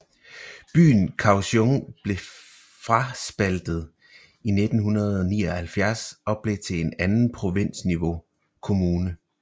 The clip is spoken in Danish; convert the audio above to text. Byen Kaohsiung blev fraspaltet i 1979 og blev til en anden provinsniveau kommune